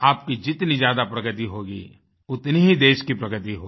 आपकी जितनी ज़्यादा प्रगति होगी उतनी ही देश की प्रगति होगी